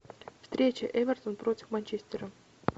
встреча эвертон против манчестера